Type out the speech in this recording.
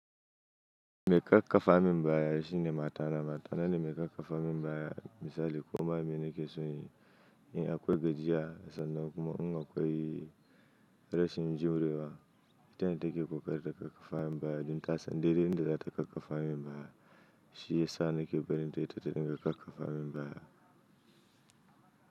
Mai kakkafa min baya shine matana. Matana ne mai kakkafa min baya misali ko ma me nake so inyi, in akwai gajiya, sannan kuma in na kwai rashin jure wa. Ita ne take ƙoƙari ta kakkafa min baya don ta san dai dai inda za ta kakkafa min baya. Shi yasa nake barinta ita ta dinga kakkafa min baya.